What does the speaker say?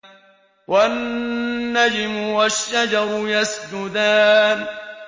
وَالنَّجْمُ وَالشَّجَرُ يَسْجُدَانِ